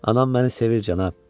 Anam məni sevir, cənab.